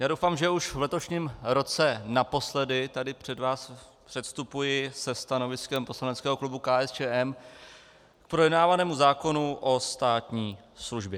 Já doufám, že už v letošním roce naposledy tady před vás předstupuji se stanoviskem poslaneckého klubu KSČM k projednávanému zákonu o státní službě.